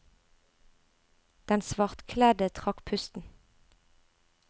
Den svartkledde trakk pusten.